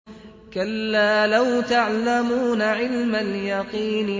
كَلَّا لَوْ تَعْلَمُونَ عِلْمَ الْيَقِينِ